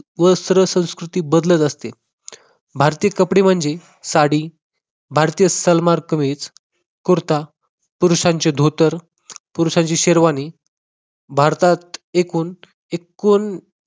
वस्त्र संस्कृती बदलत असते. भारतीय कपडे म्हणजे साडी, भारतीय सलवार-कमीज, कुर्ता, पुरुषांचे धोतर, पुरुषांची शेरवानी. भारतात एकूण एकूण